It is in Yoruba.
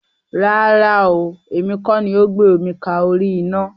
Rárá ooo, èmi kọ́ ni ó gbé omi ka orí ina.